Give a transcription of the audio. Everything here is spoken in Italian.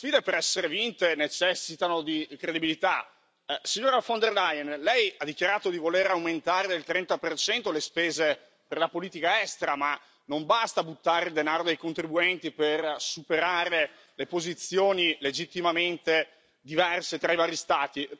Ma le sfide, per essere vinte, necessitano di credibilità. Signora von der Leyen, lei ha dichiarato di voler aumentare del 30 le spese per la politica estera, ma non basta buttare denaro dei contribuenti per superare le posizioni, legittimamente diverse, tra i vari Stati.